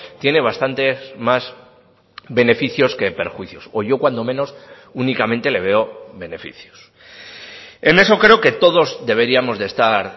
tiene bastantes más beneficios que perjuicios o yo cuando menos únicamente le veo beneficios en eso creo que todos deberíamos de estar